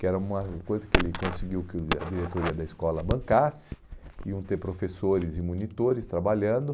Que era uma coisa que ele conseguiu que a diretoria da escola bancasse, iam ter professores e monitores trabalhando.